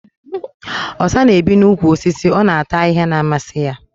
Osa na-ebi n'úkwù osisi. Ọ na-ata ahịhịa na-amasị ya